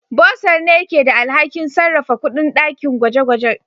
Bursar ne ke da alhakin sarrafa kuɗin dakin gwaje-gwaje.